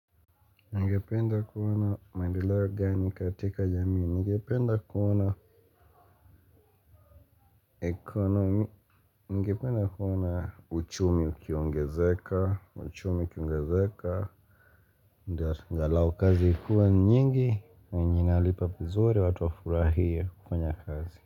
Ningependa kuona maendeleo gani katika jamii ningependa kuona ekonomi, ningependa kuona uchumi ukiongezeka, uchumi kiongezeka Ngalai kazi ikuwe nyingi, yenye inalipa vizuri watu wafurahie kufanya kazi.